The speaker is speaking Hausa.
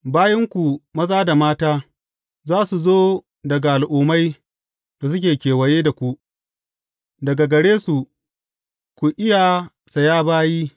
Bayinku maza da mata, za su zo daga al’ummai da suke kewaye da ku, daga gare su za ku iya saya bayi.